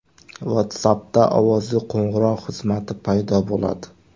WhatsApp’da ovozli qo‘ng‘iroq xizmati paydo bo‘ladi.